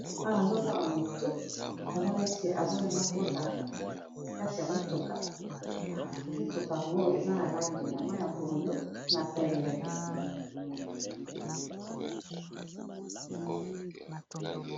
AWa nazomona mutu aza neti alingi akota na kati ya mutuka, mutuka yango eza na langi ya pondo na pembe.